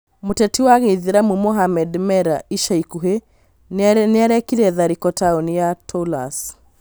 Mũteti wa gĩithĩramu Mohamed Merah ica ikuhĩ nĩarekire tharĩko taoni-inĩ ya Toulouse